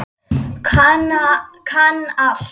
Kann allt.